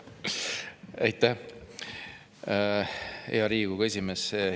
Aitäh, hea Riigikogu esimees!